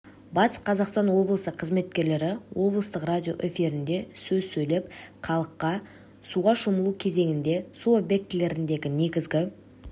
батыс қазақстан облысы қызметкерлері облыстық радио эфирінде сөз сөйлеп халыққа суға шомылу кезеңінде су объектілеріндегі негізгі